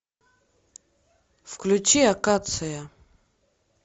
включи акация